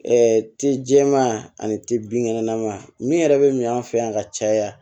ti jɛman ani ti binkɛnɛma min yɛrɛ bɛ min fɛ yan ka caya